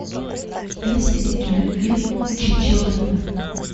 есть ли у тебя фильм чичиленд